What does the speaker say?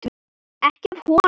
Ekki af honum.